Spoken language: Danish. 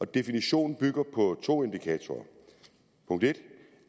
definitionen bygger på to indikatorer